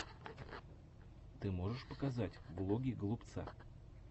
ты можешь показать влоги голубца